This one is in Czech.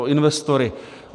O investory.